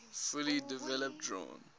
fully developed drawn